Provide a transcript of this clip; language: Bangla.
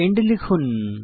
এন্ড লিখুন